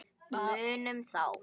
Munum þá.